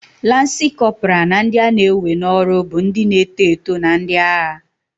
Lansi Kopra na ndị a na-ewe n'ọrụ bụ ndị na-eto eto na ndị agha.